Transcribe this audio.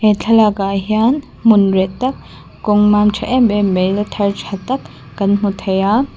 he thlaklakah hian hmun reh tak kawng mam tha em em mai la thar tha tak kan hmu thei a--